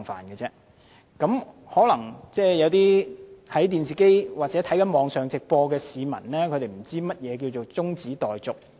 有些在電視上或網頁觀看直播的市民，可能不太清楚何謂"中止待續議案"。